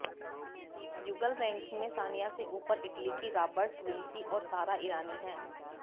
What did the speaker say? युगल रैंकिंग में सानिया से ऊपर इटली की रॉबर्ट विंसी और सारा ईरानी हैं